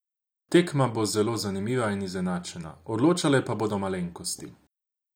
Tekma bo zelo zanimiva in izenačena, odločale pa bodo malenkosti.